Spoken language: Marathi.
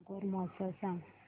नागौर महोत्सव सांग